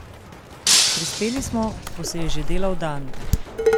Prispeli smo, ko se je že delal dan.